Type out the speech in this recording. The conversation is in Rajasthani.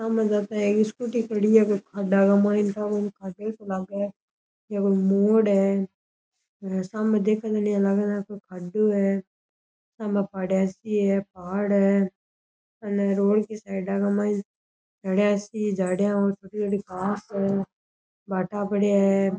स्कूटी खड़ी है मोड़ है सामने देख इया लाग पहाड़ है ऐनी रोड के साइड --